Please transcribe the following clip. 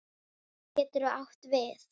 Getur átt við